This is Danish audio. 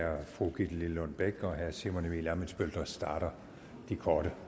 være fru gitte lillelund bech og herre simon emil ammitzbøll der starter de korte